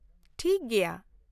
ᱴᱷᱤᱠ ᱜᱮᱭᱟ ᱾